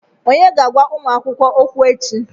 Onye ga-agwa ụmụ akwụkwọ okwu echi?